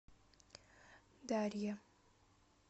дарье